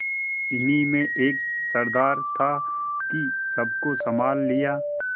इन्हीं में एक सरदार था कि सबको सँभाल लिया